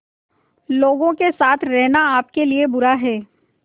लोगों के साथ रहना आपके लिए बुरा है